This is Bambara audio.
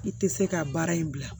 I tɛ se ka baara in bila